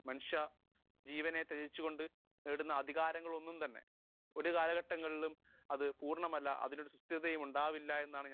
speaker 1 മനുഷ്യ ജീവനെ ത്യജിച്ചു കൊണ്ട് നേടുന്ന അധികാരങ്ങൾ ഒന്നും തന്നെ ഒരു കാലഘട്ടത്തിലും അത് പൂർണമല്ല അതിൽ ഒരു വിശ്വസ്തതയും ഉണ്ടാവില്ല എന്നാണ് ഞാൻ വിശ്വസിക്കുന്നത്